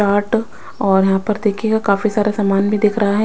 Start और यहां पर देखिएगा काफी सारा समान भी दिख रहा है।